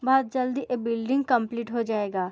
बहुत जल्दी ये बिल्डिंग कम्पलीट हो जाएगा।